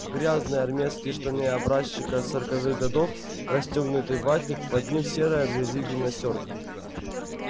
грязные армейские штаны образчика сороковых годов расстёгнутый ватник под ним серая от грязи гимнастёрка